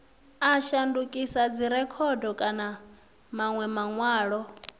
a shandukisa dzirekhodo kana manwe manwalo